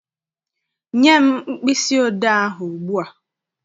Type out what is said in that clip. Nye m mkpịsị odee ahụ ugbu a!